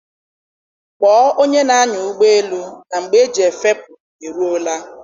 Kpọọ onye na-anya ụgbọelu na mgbe eji efepụ e ruọla.